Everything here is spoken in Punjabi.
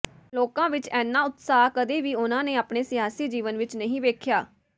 ਲੋਕਾਂ ਵਿਚ ਇੰਨਾ ਉਤਸ਼ਾਹ ਕਦੇ ਵੀ ਉਨ੍ਹਾਂ ਨੇ ਆਪਣੇ ਸਿਆਸੀ ਜੀਵਨ ਵਿਚ ਨਹੀਂ ਵੇਖਿਆ